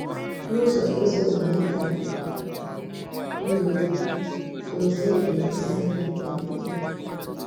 N’ụzọ ezi omume ka ndụ dị, Dòzie na-èmèsi anyị obi ike.